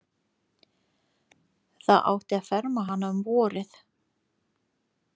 Það átti að ferma hana um vorið.